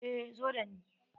Eh, zo da ni.